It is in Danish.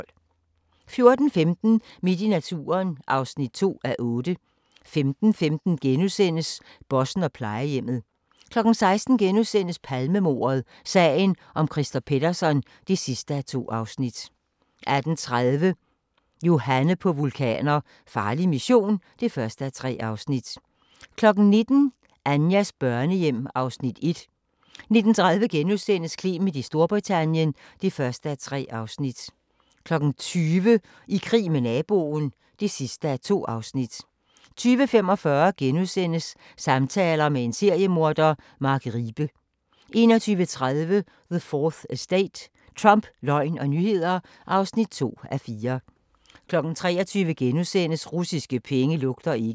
14:15: Midt i naturen (2:8) 15:15: Bossen og plejehjemmet * 16:00: Palmemordet: Sagen Christer Pettersson (2:2)* 18:30: Johanne på vulkaner – farlig mission (1:3) 19:00: Anjas børnehjem (Afs. 1) 19:30: Clement i Storbritannien (1:3)* 20:00: I krig med naboen (2:2) 20:45: Samtaler med en seriemorder – Mark Riebe * 21:30: The 4th Estate – Trump, løgn og nyheder (2:4) 23:00: Russiske penge lugter ikke *